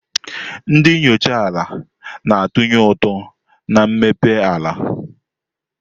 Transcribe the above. Ndị enyocha ala na-atụnye ụtụ na mmepe ala.